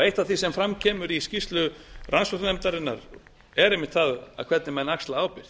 eitt af því sem fram kemur í skýrslu rannsóknarnefndarinnar er einmitt það hvernig menn axla ábyrgð